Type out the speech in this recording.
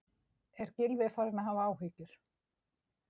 Er Gylfi farinn að hafa áhyggjur?